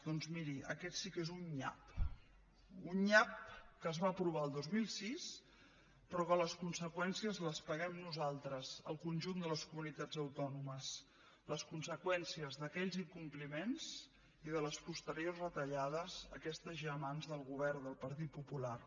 doncs miri aquest sí que és un nyap un nyap que es va aprovar el dos mil sis però que les conseqüències les paguem nosaltres el conjunt de les comunitats autònomes les conseqüències d’aquells incompliments i de les posteriors retallades aquestes ja en mans del govern del partit popular